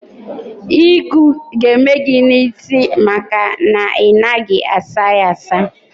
Ịgụ ga-eme gị n'isi maka na ị naghị asa ya asa.